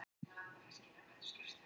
Þrjú erindi voru flutt þar